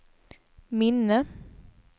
minne